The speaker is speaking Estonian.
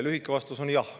Lühike vastus on jah.